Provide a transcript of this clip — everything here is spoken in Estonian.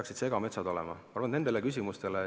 Kas metsad peaksid olema segametsad?